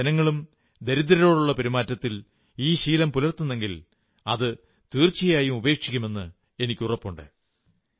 എന്റെ ജനങ്ങളും ദരിദ്രരോടുള്ള പെരുമാറ്റത്തിൽ ഈ ശീലം പുലർത്തുന്നെങ്കിൽ അതു തീർച്ചയായും ഉപേക്ഷിക്കുമെന്ന് എനിക്കുറപ്പുണ്ട്